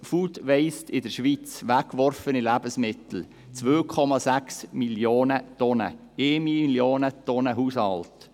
Food Waste in der Schweiz, also weggeworfene Lebensmittel: 2,6 Mio. Tonnen, davon 1 Mio. Tonnen durch die Haushalte.